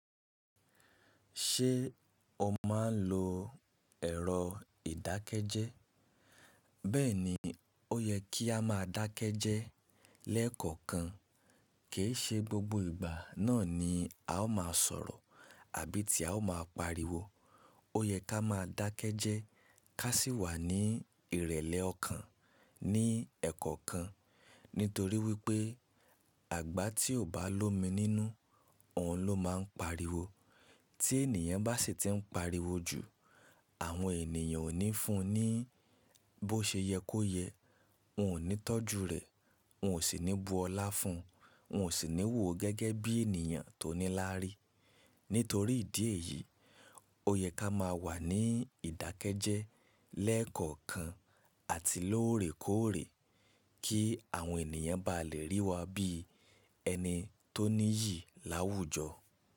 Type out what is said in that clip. Ṣé o máa ń lo ẹ̀rọ ìdákẹ́jẹ́? Bẹ́ẹ̀ni, ó yẹ kí a máa dákẹ́jẹ́ lẹ́ẹ̀kọ̀kan. Kì í ṣe gbogbo ìgbà náà ni a ó máa sọ̀rọ̀ àbí ti a ó máa pariwo. Ó yẹ ká máa dákẹ́jẹ́ ká sì wà ní ìrẹ̀lẹ̀ ọkàn ní ẹ̀kọ̀kan. Nítorí wípé àgbà tí ò bá lomi nínú, òun ló máa ń pariwo. Tí ènìyàn bá sì ti ń pariwo jù, àwọn ènìyàn ò ní fún un ní bó ṣe yẹ kó yẹ, wọ́n ò ní tọ́jú rẹ̀, wọ́n ò sì ní bu ọlá fún un, wọ́n ò sì ní wò ó gẹ́gẹ́ bí ènìyàn tó nílári. Nítorí ìdí èyí, ó yẹ ká máa wà ní ìdákẹ́jẹ́ lẹ́ẹ̀kọ̀kan àti lóòrèkóòrè kí àwọn ènìyàn bá lè rí wa bí ẹni tó níyì láwùjọ.